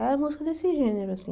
É música desse gênero, assim.